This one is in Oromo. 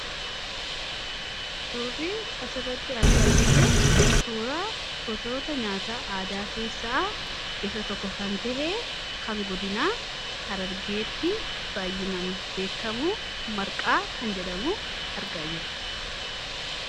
suurrii asirratti argaa jirru suuraa gosoota nyaata aadaa keessaa isa tokko kan tahee kan godinaa harargeetti baayyinan beekamu marqaa kan jedhamu argaa jira